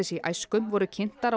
í æsku voru kynntar á